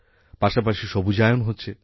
পাশাপাশি সবুজায়ন হচ্ছে